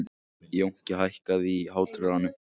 Jónki, hækkaðu í hátalaranum.